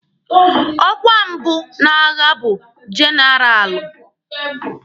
Ọkwa mbụ n'agha bụ jenaralụ.